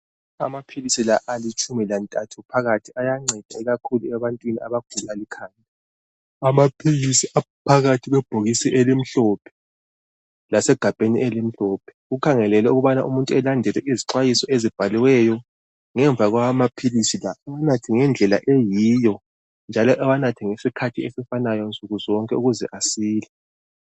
Amaphili la alitshumi lantathu phakathi ayanceda ikhakhulu ebantwini abagula ikhanda. Amaphilisi aphakathi kwebhokisini elimhlophe lasegabheni elihlophe kukhangelelwe ukubana umuntu alandelele izixwayiso ezibhaliweyo ngemva kwamaphilisi la anathe ngedlela eyiyo njalo ewanathe ngesikhathi esifanayo nsuku zonke ukuze asile.